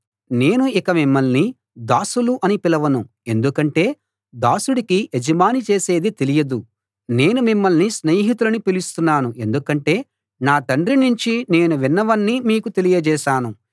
నేను ఇక మిమ్మల్ని దాసులు అని పిలవను ఎందుకంటే దాసుడికి యజమాని చేసేది తెలియదు నేను మిమ్మల్ని స్నేహితులని పిలుస్తున్నాను ఎందుకంటే నా తండ్రి నుంచి నేను విన్నవన్నీ మీకు తెలియజేశాను